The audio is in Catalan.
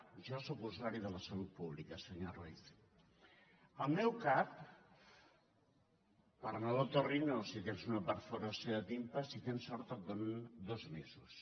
jo sóc usuari de la salut pública senyor ruiz al meu cap per anar a l’ otorrino si tens una perforació de timpà si tens sort et donen dos mesos